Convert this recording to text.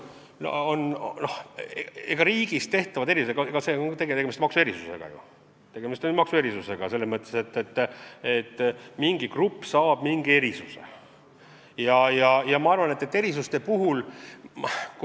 Tegemist on ju maksuerisusega selles mõttes, et mingi grupp saab mingi erisuse õiguse.